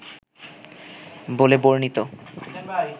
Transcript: বলে বর্ণিত